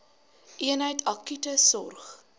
eenheid akute sorg